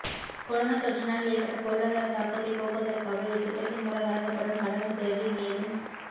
corona தொற்றினால் ஏற்பட்ட பொருளாதார தாக்கத்தை போக்குவதற்காக இத்திட்டத்தின் மூலம் வழங்கப்படும் கடனுதவி மேலும்